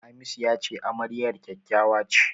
Hamisu ya ce amaryar kyakkyawa ce.